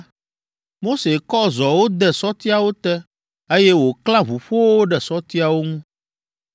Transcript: Mose kɔ zɔwo de sɔtiawo te, eye wòklã ʋuƒowo ɖe sɔtiawo ŋu.